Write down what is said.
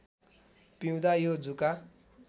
पिउँदा यो जुका